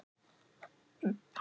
Þeim var heitt í hamsi.